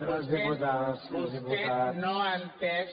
vostè no ha entès